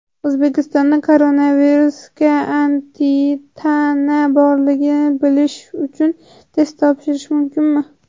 O‘zbekistonda koronavirusga antitana borligini bilish uchun test topshirish mumkinmi?.